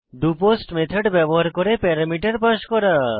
doPost method ব্যবহার করে parameter pass করা